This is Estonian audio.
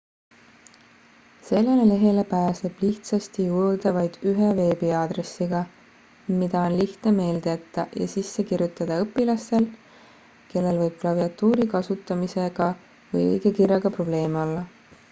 sellele lehele pääseb lihtsasti juurde vaid ühe veebiaadressiga mida on lihtne meelde jätta ja sisse kirjutada õpilastel kellel võib klaviatuuri kasutamisega või õigekirjaga probleeme olla